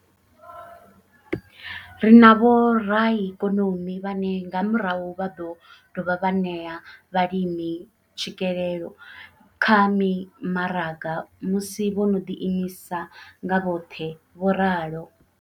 Ri na vhoraikonomi vhane nga murahu vha ḓo dovha vha ṋea vhalimi tswikelelo kha mimaraga musi vho no ḓi imisa nga vhoṱhe, vho ralo.